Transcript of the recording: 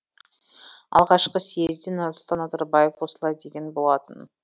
алғашқы съезде нұрсұлтан назарбаев осылай деген болатын